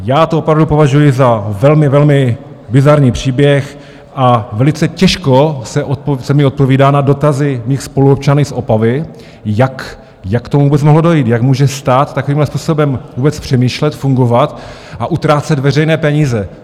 Já to opravdu považuji za velmi, velmi bizarní příběh a velice těžko se mi odpovídá na dotazy mých spoluobčanů z Opavy, jak k tomu vůbec mohlo dojít, jak může stát takovýmhle způsobem vůbec přemýšlet, fungovat a utrácet veřejné peníze.